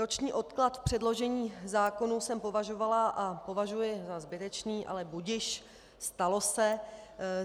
Roční odklad v předložení zákonů jsem považovala a považuji za zbytečný, ale budiž, stalo se.